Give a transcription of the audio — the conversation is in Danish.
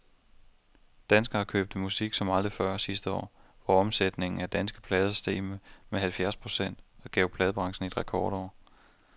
Danskerne købte musik som aldrig før sidste år, hvor omsætningen af danske plader steg med halvfjerds procent og gav pladebranchen et rekordår.